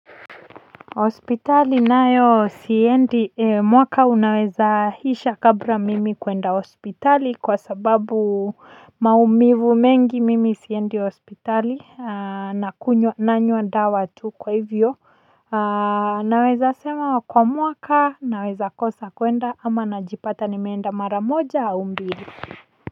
Hospitali nayo siendi, mwaka unaweza isha kabla mimi kwenda hospitali kwa sababu maumivu mengi mimi siendi hospitali, nanywa dawa tu kwa hivyo. Naweza sema kwa mwaka naweza kosa kuenda ama najipata nimeenda mara moja au mbili.